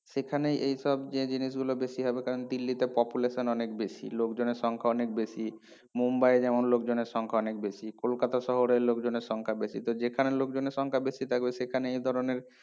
সেখানেই এইসব যে জিনিসগুলো বেশি হবে কারণ দিল্লীতে population অনেক বেশি লোকজনের সংখ্যা অনেক বেশি মুম্বাই এ যেমন লোকজনের সংখ্যা অনেক বেশি কোলকাতা শহরে লোকজনের সংখ্যা বেশি তো যেখানে লোকজনের সংখ্যা বেশি থাকবে সেখানে এই ধরনের